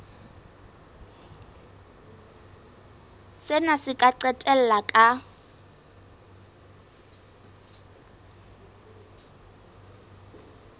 sena se ka qetella ka